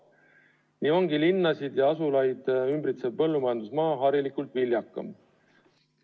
Nii ongi linnasid ja muid asulaid ümbritsev põllumajandusmaa harilikult viljakam.